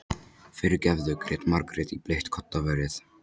Fyrirgefðu, grét Margrét í bleikt koddaverið.